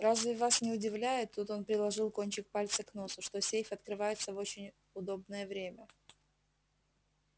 разве вас не удивляет тут он приложил кончик пальца к носу что сейф открывается в очень удобнее время